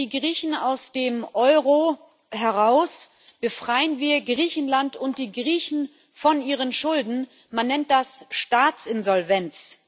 Lassen wir die Griechen aus dem Euro heraus, befreien wir Griechenland und die Griechen von ihren Schulden Man nennt das Staatsinsolvenz.